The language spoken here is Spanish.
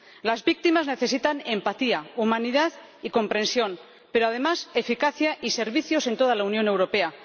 Las víctimas necesitan empatía, humanidad y comprensión pero, además, eficacia y servicios en toda la Unión Europea.